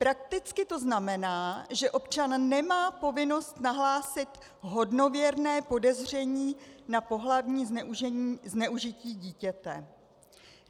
Prakticky to znamená, že občan nemá povinnost nahlásit hodnověrné podezření na pohlavní zneužití dítěte.